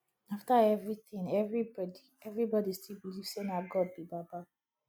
after everything everybody everybody still believe say na god be baba